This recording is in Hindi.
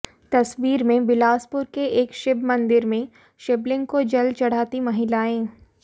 तस्वीर में बिलासपुर के एक शिव मंदिर में शिवलिंग को जल चढ़ाती महिलाएं